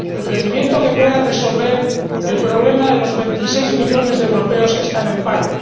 Un crecimiento que pueda resolver el problema de los veintiséis millones de europeos que están en paro